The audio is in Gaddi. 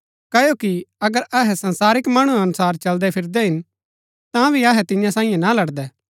क्ओकि अगर अहै संसारिक मणु अनुसार चलदै फिरदै हिन तांभी अहै तियां सांईयै ना लड़दै